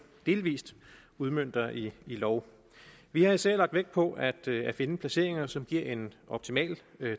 delvis udmønter i lov vi har især lagt vægt på at finde placeringer som giver en optimal